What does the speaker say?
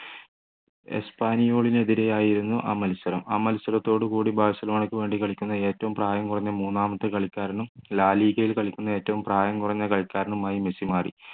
എസ്പാനിയോളിനെതിരെ ആയിരുന്നു ആ മത്സരം ആ മത്സസരളതടുകൂടി ബാഴ്സലോണക്ക് വേണ്ടി കളിക്കുന്ന ഏറ്റവും പ്രായം കുറഞ്ഞ മൂന്നാമത്തെ കളിക്കാരനും la liga കളിക്കുന്ന ഏറ്റവും പ്രായം കുറഞ്ഞ കളിക്കാരനുമായി മെസ്സി മാറി